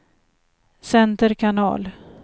center kanal